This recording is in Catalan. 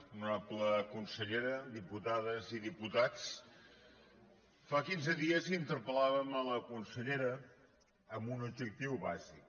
honorable consellera diputades i diputats fa quinze dies interpellàvem la consellera amb un objectiu bàsic